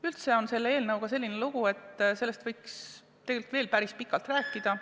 Üldse on selle eelnõuga niisugune lugu, et tegelikult võiks sellest veel päris pikalt rääkida.